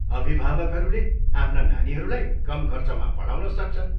अभिभावकहरूले आफ्ना नानीहरूलाई कम खर्चमा पढाउन सक्छन्।